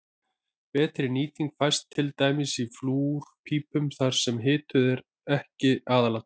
Betri nýting fæst til dæmis í flúrpípum þar sem hitun er ekki aðalatriðið.